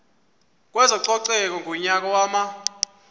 kwezococeko ngonyaka wama